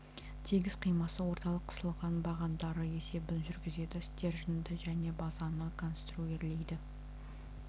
тегіс қимасы орталық қысылған бағандары есебін жүргізеді стерженьді және базаны конструирлейді